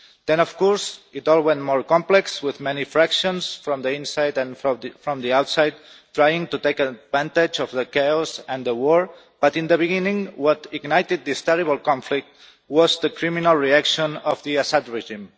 Then of course it all went more complex, with many factions from the inside and from the outside trying to take advantage of the chaos and the war. But in the beginning, what ignited this terrible conflict was the criminal reaction of the Assad regime.